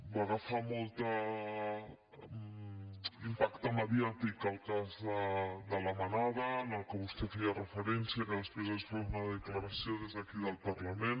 va agafar molt impacte mediàtic el cas de la manada al que vostè feia referència que després es va fer una declaració des d’aquí del parlament